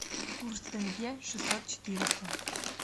курс тенге шестьсот четыреста